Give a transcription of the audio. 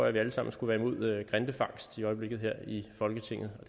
at vi alle sammen skulle være imod grindefangst i øjeblikket her i folketinget og